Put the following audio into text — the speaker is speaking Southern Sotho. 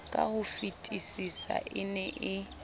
ka hofetisisa e ne e